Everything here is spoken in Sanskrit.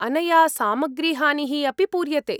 अनया सामग्रीहानिः अपि पूर्यते।